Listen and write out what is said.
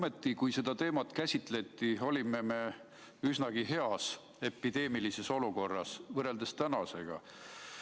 Aga kui seda teemat käsitleti, olime me epideemia mõttes üsna heas olukorras võrreldes tänasega.